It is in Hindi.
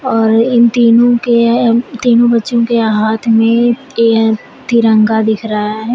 और इन तीनों के अ तीनों बच्चों के हाथ में ए तिरंगा दिख रहा है।